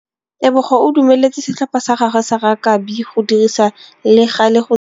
Tebogô o dumeletse setlhopha sa gagwe sa rakabi go dirisa le galê go tshameka.